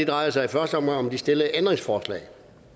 drejer sig i første omgang om de stillede ændringsforslag